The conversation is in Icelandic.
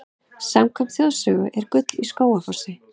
Samkvæmt þjóðsögu er gull í Skógafossi.